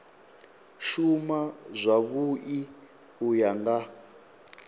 shuma zwavhui u ya nga